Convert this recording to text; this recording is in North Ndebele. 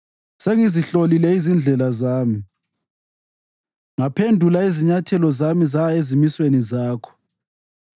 Sengizihlolile izindlela zami ngaphendula izinyathelo zami zaya ezimisweni zakho.